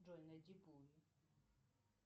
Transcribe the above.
джой найди пулл